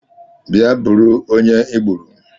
Bịa bụrụ onye I gbùrù!